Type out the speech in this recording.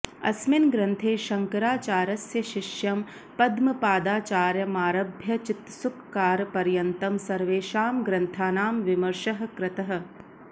अस्मिन् ग्रंथे शंकराचार्यस्य शिष्यं पद्मपादाचार्यमारभ्य चित्सुखकारपर्यन्तं सर्वेषां ग्रन्थानां विमर्शः कृतः